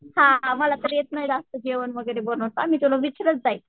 हां मला तर येत नाही जास्त जेवण वगैरे बनवता मी तुला विचारत जाईन.